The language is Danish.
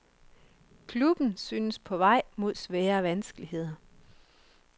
Klubben synes på vej mod svære vanskeligheder.